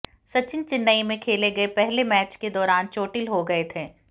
सचिन चेन्नई में खेले गए पहले मैच के दौरान चोटिल हो गए थे